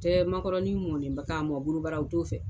tɛ makɔrɔni mɔlenba k'a mɔn borobara u t'o fɛ.